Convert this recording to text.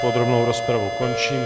Podrobnou rozpravu končím.